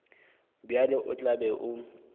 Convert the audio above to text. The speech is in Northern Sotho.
bjalo o tla be o